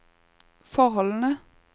forholdene